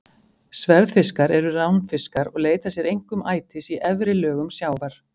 Sverðfiskar eru ránfiskar og leita sér einkum ætis í efri lögum sjávar.